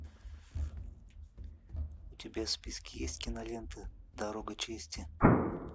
у тебя в списке есть кинолента дорога чести